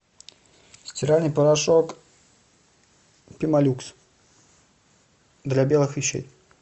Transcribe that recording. стиральный порошок пемолюкс для белых вещей